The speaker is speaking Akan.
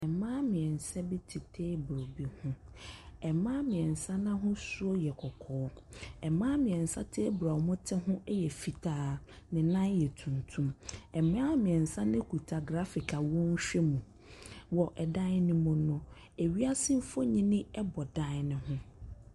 Mmaa mmiɛsa bi te table bi ho. Mmaa mmiɛnsa no ahosu yɛ kɔkɔɔ. Mmaa mmiɛnsa no table a wɔte so ho yɛ fitaa. Ne nan yɛ tuntum. Mmaa mmiɛsa no kita graphic a wɔrehwɛ mu. Wɔ ɛdan no mu no, ewiase mfonyini bɔ dan no ho.